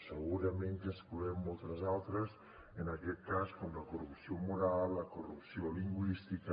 segurament que n’excloem moltes altres en aquest cas com la corrupció moral la corrupció lingüística